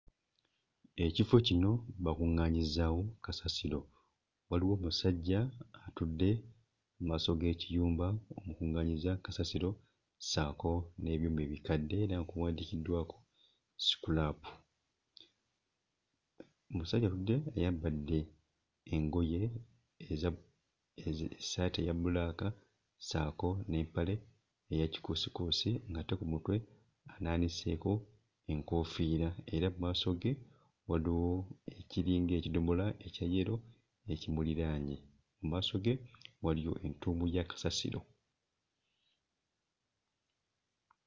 Ekifo kino bakuŋŋaanyizaawo kasasiro. Waliwo omusajja atudde mu maaso g'ekiyumba omukuŋŋaanyiza kasasiro ssaako n'ebyuma ebikadde era nga kuwandiikiddwako scrap. Omusajja atudde ayambadde engoye eza ezi... essaati eya bbulaaka ssaako n'empale eya kikuusikuusi ng'ate ku mutwe anaaniseeko enkoofiira era mu maaso ge waliwo ekiringa ekidomola ekya yero ekimuliraanye. Mu maaso ge waliyo entuumu ya kasasiro.